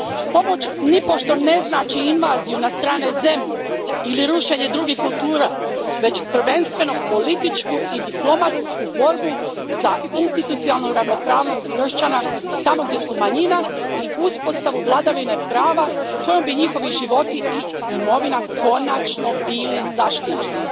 Pomoć nipošto ne znači invaziju na strane zemlje ili rušenje drugih kultura, već prvenstveno političku i diplomatsku borbu za institucionalnu ravnopravnost kršćana tamo gdje su manjina i uspostavu vladavine prava kojom bi njihovi životi i imovina konačno bili zaštićeni.